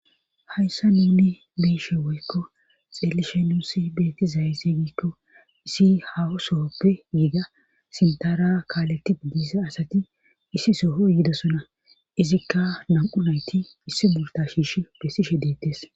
Hayssa nuni biishe woykko xeelishe nuussi beetti zaysse giikko isi hahusoppe giiga sintara kaaleti diisa asati issi soho yidosona izikka nam7u nayti issi multa shiishi bessishe deettes.